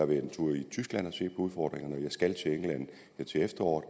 været en tur i tyskland og set på udfordringerne jeg skal til efteråret